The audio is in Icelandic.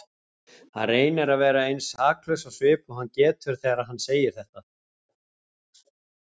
Hann reynir að vera eins saklaus á svip og hann getur þegar hann segir þetta.